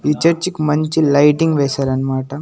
ఈ చర్చ్ కి మంచి లైటింగ్ వేశారనమాట.